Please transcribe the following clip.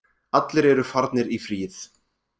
Allir eru farnir í fríið